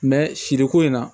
siriko in na